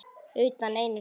Utan einu sinni.